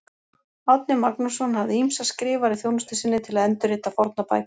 Árni Magnússon hafði ýmsa skrifara í þjónustu sinni til að endurrita fornar bækur.